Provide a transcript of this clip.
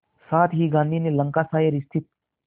साथ ही गांधी ने लंकाशायर स्थित